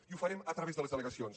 i ho farem a través de les delegacions